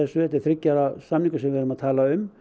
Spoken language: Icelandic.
þetta er þriggja ára samningur sem við erum að tala um